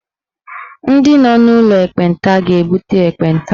Ndị nọ n'ụlọ ekpenta ga-ebute ekpenta.